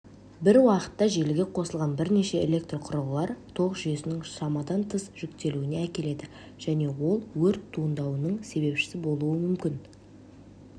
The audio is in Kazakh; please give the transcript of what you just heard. бір уақытта желіге қосылған бірнеше электрқұрылғылар тоқ жүйесінің шамадан тыс жүктелуіне әкеледі және ол өрт туындайының себепшісі болуы мүмкін